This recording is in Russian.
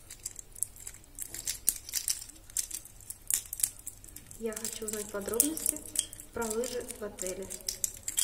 я хочу узнать подробности про лыжи в отеле